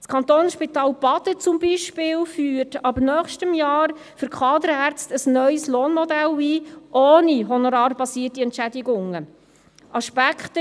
Das Kantonsspital Baden zum Beispiel führt für Kaderärzte ab nächstem Jahr ein neues Lohnmodell ohne honorarbasierte Entschädigungen ein.